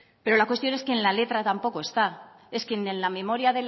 pero la cuestión es que en la letra tampoco está es que en la memoria